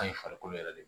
An ye farikolo yɛrɛ de